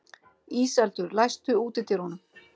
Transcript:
Íseldur, læstu útidyrunum.